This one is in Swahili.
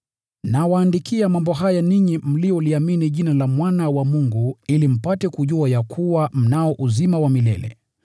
Nawaandikia mambo haya ninyi mnaoliamini Jina la Mwana wa Mungu ili mpate kujua ya kuwa mnao uzima wa milele.